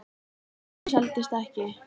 Varan seldist ekki.